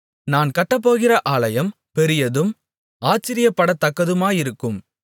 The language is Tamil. நான் கட்டப்போகிற ஆலயம் பெரியதும் ஆச்சரியப்படத்தக்கதுமாயிருக்கும்